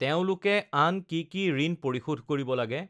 তেওঁলোকে আন কি কি ঋণ পৰিশোধ কৰিব লাগে?